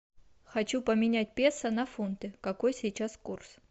хочу поменять песо на фунты какой сейчас курс